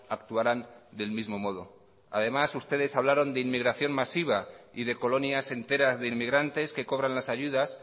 actuaran del mismo modo además ustedes hablaron de inmigración masiva y de colonias enteras de inmigrantes que cobran las ayudas